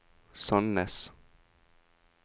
Sandnes